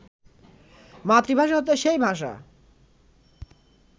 মাতৃভাষা হচ্ছে সেই ভাষা